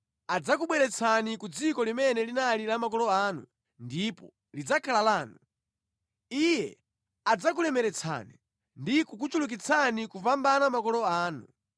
Adzakubweretsani ku dziko limene linali la makolo anu, ndipo lidzakhala lanu. Iye adzakulemeretsani ndi kukuchulukitsani kupambana makolo anu.